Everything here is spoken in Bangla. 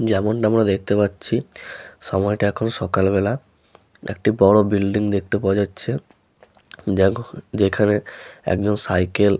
যেমন টা আমরা দেখতে পাচ্ছি সময় টা এখন সকাল বেলা একটি বড়ো বিল্ডিং দেখতে পাওয়া যাচ্ছে দেখো যেখানে একজন সাইকেল --